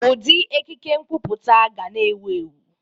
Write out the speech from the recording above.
Ụdị ekike nkwuputa ga na-ewu ewu.